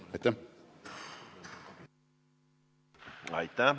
Aitäh!